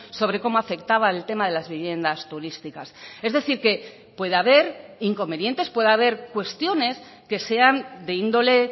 sobre cómo afectaba el tema de las viviendas turísticas es decir que puede haber inconvenientes puede haber cuestiones que sean de índole